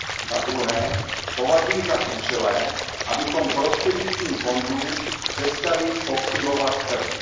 Za druhé, považuji za klíčové, abychom prostřednictvím fondů přestali pokřivovat trh.